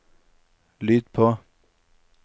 lyd på